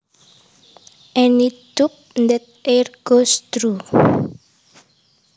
Any tube that air goes through